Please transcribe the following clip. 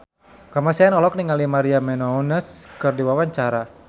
Kamasean olohok ningali Maria Menounos keur diwawancara